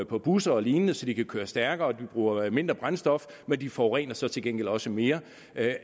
på busser og lignende så de kører stærkere og bruger mindre brændstof men de forurener så til gengæld også mere